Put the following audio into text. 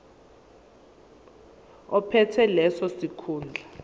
ophethe leso sikhundla